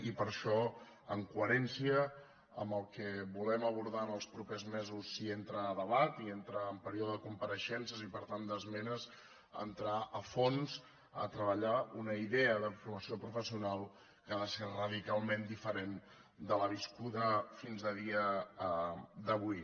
i per això en coherència amb el que volem abordar en els propers mesos si entra a debat i entra en període de compareixences i per tant d’esmenes entrar a fons a treballar una idea de formació professional que ha de ser radicalment diferent de la viscuda fins a dia d’avui